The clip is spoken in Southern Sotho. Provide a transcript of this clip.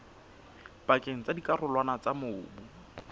pakeng tsa dikarolwana tsa mobu